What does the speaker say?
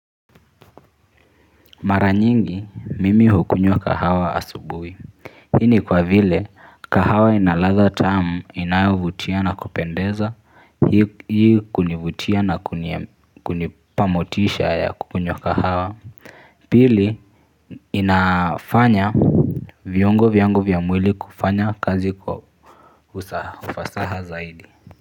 Mara nyingi, mimi hukunywa kahawa asubuhi. Hii ni kwa vile, kahawa ina ladha tamu inayovutia na kupendeza, hii kunivutia na kunipamotisha ya kukunywa kahawa. Pili, inafanya viongo vyangu vya mwili kufanya kazi kwa ufasaha zaidi.